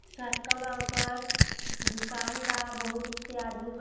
दुकान बा बहुत से आदमी बा।